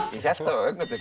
ég hélt á augnabliki